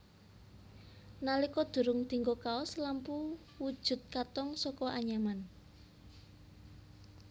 Nalika durung dinggo kaos lampu wujud katong saka anyaman